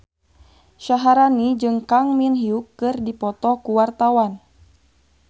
Syaharani jeung Kang Min Hyuk keur dipoto ku wartawan